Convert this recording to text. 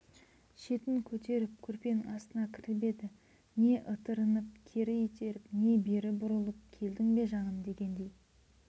шетін көтеріп көрпенің астына кіріп еді не ытырынып кері итеріп не бері бұрылып келдің бе жаным дегендей